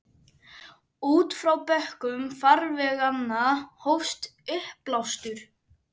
Út frá bökkum farveganna hófst uppblástur.